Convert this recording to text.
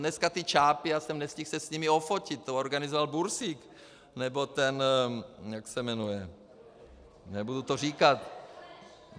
Dneska ti čápi - já jsem nestihl se s nimi ofotit, to organizoval Bursík, nebo ten - jak se jmenuje, nebudu to říkat.